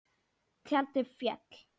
Tjaldið féll.